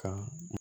Ka